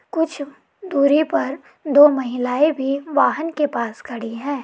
कुछ दूरी पर दो महिलाए भी वाहन के पास खड़ी हैं।